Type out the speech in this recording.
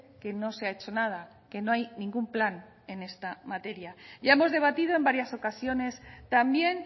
que no se ha hecho nada que no hay ningún plan en esta materia ya hemos debatido en varias ocasiones también